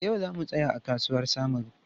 E, yau za mu saya a kasuwar Samaru.